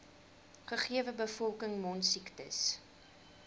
gegewe bevolking mondsiektes